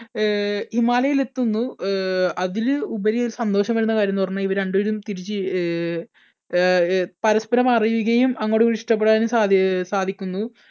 അഹ് ഹിമാലയത്തിൽ എത്തുന്നു. അഹ് അതിൽ ഉപരി ഒരു സന്തോഷം വരുന്ന കാര്യം എന്തെന്ന് പറഞ്ഞാൽ ഇവര് രണ്ടുപേരും തിരിച്ച് അഹ് പരസ്പരം അറിയുകയും അങ്ങോട്ടുമിങ്ങോട്ടും നഷ്ടപ്പെടാനും സാധി സാധിക്കുന്നു.